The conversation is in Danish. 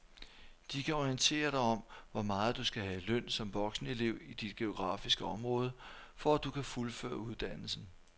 De kan orientere dig om hvor meget du skal have i løn som voksenelev i dit geografiske område, for at du kan fuldføre uddannelsen.